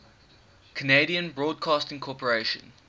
canadian broadcasting corporation